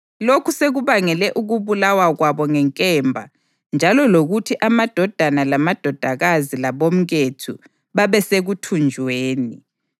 Lokhu sekubangele ukubulawa kwabo ngenkemba njalo lokuthi amadodana lamadodakazi labomkethu babe sekuthunjweni.